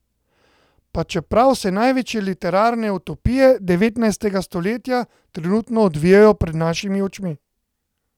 Pa čeprav se največje literarne utopije devetnajstega stoletja trenutno odvijajo pred našimi očmi.